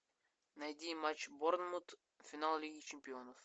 найди матч борнмут финал лиги чемпионов